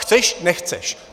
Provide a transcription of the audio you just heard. Chceš, nechceš?